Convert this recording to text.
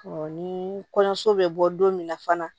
ni kɔɲɔso bɛ bɔ don min na fana